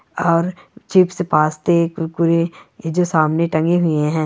और चिप्स पास्ते कुरकुरे ये जो सामने टंगे हुए हैं।